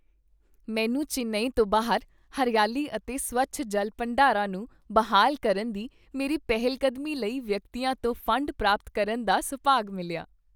ਮੈਨੂੰ ਚੇਨਈ ਤੋਂ ਬਾਹਰ ਹਰਿਆਲੀ ਅਤੇ ਸਵੱਛ ਜਲ ਭੰਡਾਰਾਂ ਨੂੰ ਬਹਾਲ ਕਰਨ ਦੀ ਮੇਰੀ ਪਹਿਲਕਦਮੀ ਲਈ ਵਿਅਕਤੀਆਂ ਤੋਂ ਫੰਡ ਪ੍ਰਾਪਤ ਕਰਨ ਦਾ ਸੁਭਾਗ ਮਿਲਿਆ।